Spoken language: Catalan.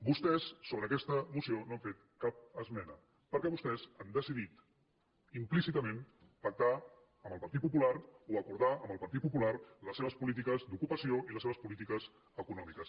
vostès sobre aquesta moció no han fet cap esmena perquè vostès han deci·dit implícitament pactar amb el partit popular o acor·dar amb el partit popular les seves polítiques d’ocupa·ció i les seves polítiques econòmiques